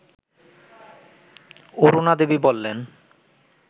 অরুণাদেবী বললেন